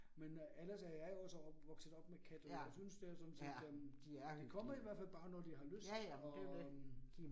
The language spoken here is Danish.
Men øh ellers er jeg også opvokset op med kat, og jeg synes det er sådan set øh. De kommer i hvert fald bare, når de har lyst og øh